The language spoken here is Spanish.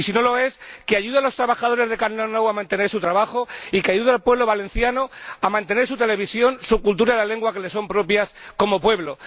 Y si no lo es, que ayude a los trabajadores de Canal 9 a mantener su trabajo, y que ayude al pueblo valenciano a mantener su televisión y su cultura en la lengua que le son propias como pueblo.